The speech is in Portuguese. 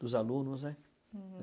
dos alunos, né?